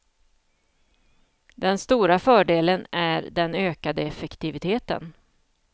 Den stora fördelen är den ökade effektiviteten.